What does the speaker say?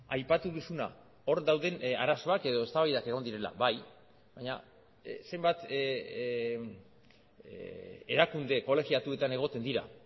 aipatu duzuna hor dauden arazoak edo eztabaidak egon direla bai baina zenbat erakunde kolegiatuetan egoten dira